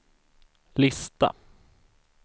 lista